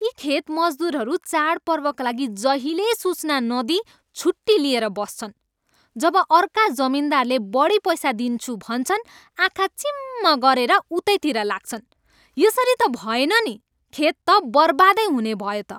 यी खेत मजदुरहरू चाडपर्वका लागि जहिल्यै सूचना नदिई छुट्टी लिएर बस्छन्। जब अर्का जमिनदारले बढी पैसा दिन्छु भन्छन्, आँखा चिम्म गरेर उतैतिर लाग्छन्। यसरी त भएन नि! खेत त बर्बादै हुनेभयो त!